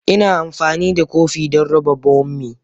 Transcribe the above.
Ina amfani da kopi don raba bommi.